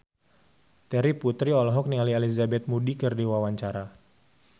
Terry Putri olohok ningali Elizabeth Moody keur diwawancara